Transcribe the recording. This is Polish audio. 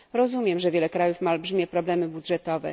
Rozumiem, że wiele krajów ma olbrzymie problemy budżetowe.